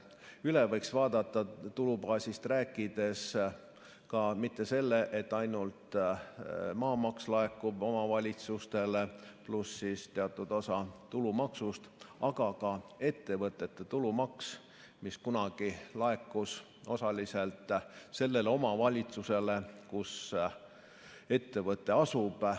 Üle võiks vaadata, tulubaasist rääkides, ka selle, et mitte ainult maamaks laekuks omavalitsustele pluss teatud osa tulumaksust, aga ka ettevõtete tulumaks, mis kunagi laekus osaliselt sellele omavalitsusele, kus ettevõte asub.